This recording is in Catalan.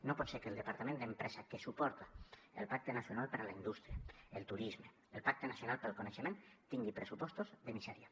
no pot ser que el departament d’empresa que suporta el pacte nacional per a la indústria el turisme el pacte nacional per a la societat del coneixement tingui pressupostos de misèria